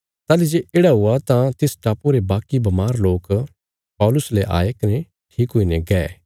ताहली जे येढ़ा हुआ तां तिस टापुये रे बाकी बमार लोक पौलुस ले आये कने ठीक हुईने गै